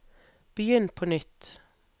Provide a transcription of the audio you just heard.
begynn på nytt